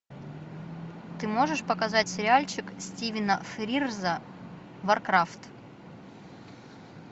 ты можешь показать сериальчик стивена фрирза варкрафт